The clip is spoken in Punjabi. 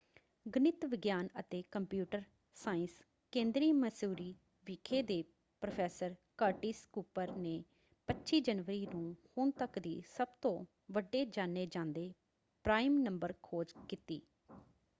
ਗਣਿਤ ਵਿਗਿਆਨ ਅਤੇ ਕੰਪਿਊਟਰ ਸਾਇੰਸ ਕੇਂਦਰੀ ਮੈਸੂਰੀ ਵਿਖੇ ਦੇ ਪ੍ਰੋਫੈਸਰ ਕਰਟਿਸ ਕੁਪਰ ਨੇ 25 ਜਨਵਰੀ ਨੂੰ ਹੁਣ ਤੱਕ ਦੀ ਸਭਤੋਂ ਵੱਡੇ ਜਾਣੇ ਜਾਂਦੇ ਪ੍ਰਾਈਮ ਨੰਬਰ ਖੋਜ ਕੀਤੀ।